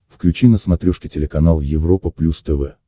включи на смотрешке телеканал европа плюс тв